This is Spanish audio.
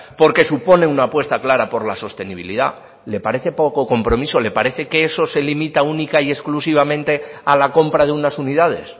porque supone una apuesta clara por la sostenibilidad le parece poco compromiso le parece que eso se limita única y exclusivamente a la compra de unas unidades